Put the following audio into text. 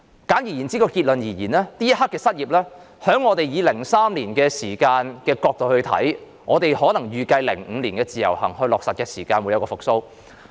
簡而言之，結論就是，就這刻的失業情況而言，如果從2003年時的角度看，我們或會預計在2005年落實自由行時，經濟會復蘇。